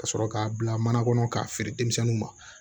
Ka sɔrɔ k'a bila mana kɔnɔ k'a feere denmisɛnninw ma